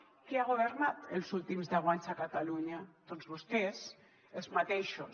qui ha governat els últims deu anys a catalunya doncs vostès els mateixos